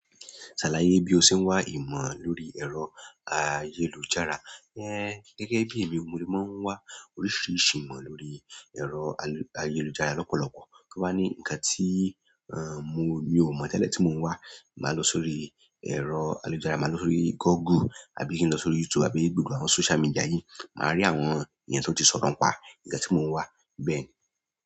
Ṣàlàyé bí o ṣe ń wá ìmọ̀ lórí ẹ̀rọ ayélujára. Ẹ́n, gẹ́gẹ́ bí èmi mo máa ń wá oríṣiríṣi ìmọ̀ lórí ẹ̀rọ ayélujára lọ́pọ̀lọpọ̀. Tí ó bá ni nǹkan tí, ehn, mo, mi ò mọ̀ mọ̀lẹ̀ tí mo ń wá, màá lọ sórí ẹ̀rọ ayélujára. Màá lọ sórí Google àbí kí n lọ sórí YouTube àbí gbogbo àwọn social media yìí. Màá rí àwọn ènìyàn tí ó ti sọ̀rọ̀ pá nǹkan tí mo ń wá bẹ́ẹ̀ ni.